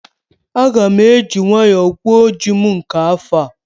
Aga m eji nwayọọ gwuo ji m nke afọ a